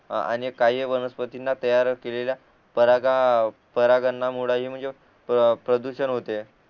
आणि काही वनस्पतींना तयार केलेल्या परागा परागंधामुळे हि म्हणजे प्रदूषण होते